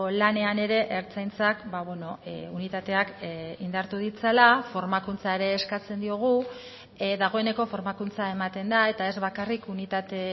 lanean ere ertzaintzak unitateak indartu ditzala formakuntza ere eskatzen diogu dagoeneko formakuntza ematen da eta ez bakarrik unitate